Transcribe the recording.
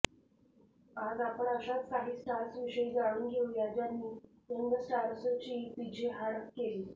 आज आपण अशाच काही स्टार्सविषयी जाणून घेऊया ज्यांनी यंगस्टार्सची पीछेहाट केली